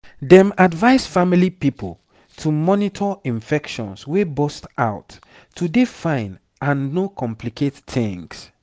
dem advise family pipo to monitor infections wey burst out to dey fine and no complicate tings